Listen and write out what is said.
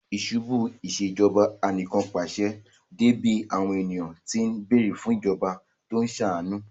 Ìṣubú u Ìṣèjọba Anìkànpàṣẹ dé bí àwọn ènìyàn tí ń bẹ̀ẹ̀rẹ̀ fún ìjọba tó ń ṣàánú